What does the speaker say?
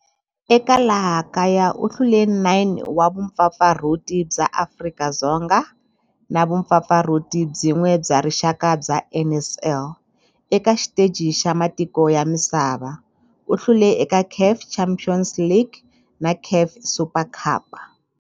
Eka laha kaya u hlule 9 wa vumpfampfarhuti bya Afrika-Dzonga na vumpfampfarhuti byin'we bya rixaka bya NSL. Eka xiteji xa matiko ya misava, u hlule eka CAF Champions League na CAF Super Cup.